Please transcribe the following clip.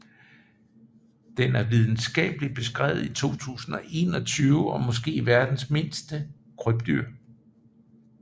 Den er videnskabeligt beskrevet i 2021 og er måske verdens mindste krybdyr